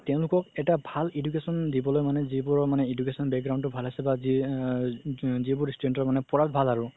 তেওলোক এটা ভাল education দিবলৈ মানে যিবোৰৰ মানে education তো মানে ভাল আছে বা আ যিবোৰ student ৰ মানে পঢ়াত ভাল আৰু